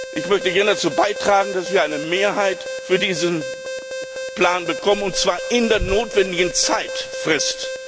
Ich möchte gerne dazu beitragen, dass wir eine Mehrheit für diesen Plan bekommen, und zwar innerhalb der notwendigen Frist.